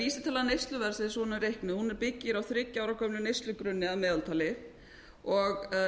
vísitala neysluverðs eins og hún er reiknuð hún byggir á þriggja ára gömlum neyslugrunni að meðaltali og